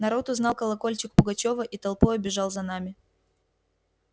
народ узнал колокольчик пугачёва и толпою бежал за нами